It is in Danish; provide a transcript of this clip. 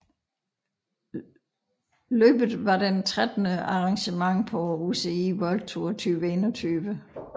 Løbet var trettende arrangement på UCI World Tour 2021